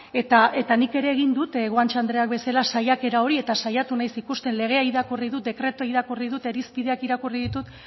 eta nik ere egin dut guanche andreak bezala saiakera hori eta saiatu naiz ikusten legea irakurri dut dekretua irakurri dut irizpideak irakurri ditut